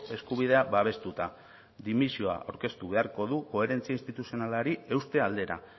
eskubidea babestuta dimisio aurkeztu beharko du koherentzia instituzionalari euste aldera